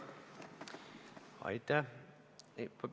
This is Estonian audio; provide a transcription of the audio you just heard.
Aitäh!